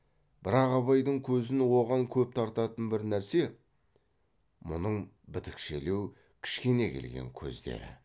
бірақ абайдың көзін оған көп тартатын бір нәрсе мұның бітікшелеу кішкене келген көздері